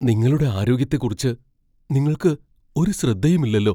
നിങ്ങളുടെ ആരോഗ്യത്തെക്കുറിച്ച് നിങ്ങൾക്ക് ഒരു ശ്രദ്ധയുമില്ലല്ലോ!